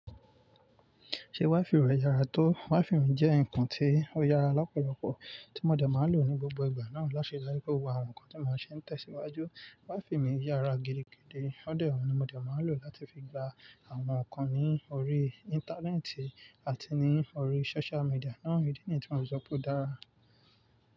Ṣé WiFi rẹ yára tó? WiFi mi jẹ́ nǹkan tí ó yára lọ́pọ̀lọpọ̀ tí mo dẹ̀ máa lò ní gbogbo ìgbà náà láti ri pe gbogbo àwọn nǹkan tí mo n ṣe ń tẹ̀síwájú. WiFi mi yára gidigidi, óun ni mo dẹ̀ máa lò láti fi gba àwọn nǹkan ní orí Íńtánẹ́ẹ̀tì àti ní orí Social media náà, ìdí nìyi tí mò ń sọ pé ó dára.